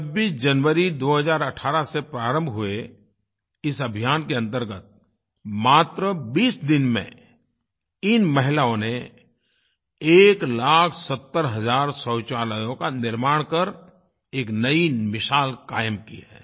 26 जनवरी 2018 से प्रारंभ हुए इस अभियान के अंतर्गत मात्र 20 दिन में इन महिलाओं ने 1 लाख 70 हजार शौचालयों का निर्माण कर एक नई मिसाल कायम की है